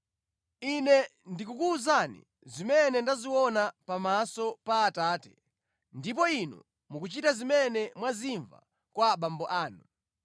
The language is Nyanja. Ine ndikukuwuzani zimene ndaziona pamaso pa Atate, ndipo inu mukuchita zimene mwazimva kwa abambo anu.”